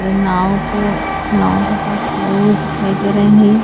नाव को नाव के पास खड़े हुए दिखाई दे रहे हैं।